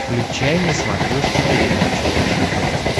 включай на смотрешке передачу фэшен тв